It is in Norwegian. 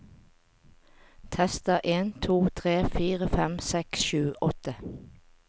Tester en to tre fire fem seks sju åtte